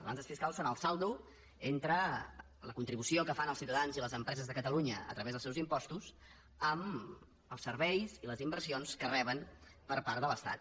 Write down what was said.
les balances fiscals són el saldo entre la contribució que fan els ciutadans i les empreses de catalunya a través dels seus impostos amb els serveis i les inversions que reben per part de l’estat